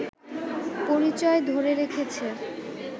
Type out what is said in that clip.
পরিচয় ধরে রেখেছে